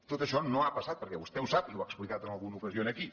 tot això no ha passat perquè vostè ho sap i ho ha explicat en alguna ocasió aquí